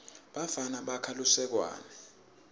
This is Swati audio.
bafana bakha lusekwane